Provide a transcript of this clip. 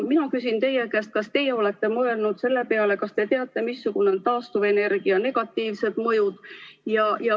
Mina küsin teie käest, kas teie olete mõelnud selle peale, kas te teate, missugused on taastuvenergia negatiivsed mõjud.